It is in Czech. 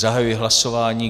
Zahajuji hlasování.